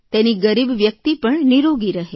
તેની ગરીબ વ્યકિત પણ નીરોગી રહે